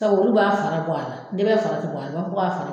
olu b'a fara bɔ a la, ndɛbɛ fara tɛ bɔ a la, o b'a fɔ k'a fara